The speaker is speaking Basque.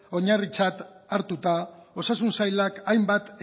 oinarritzat hartuta osasun sailak hainbat